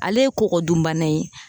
Ale ye kɔkɔ dunbana ye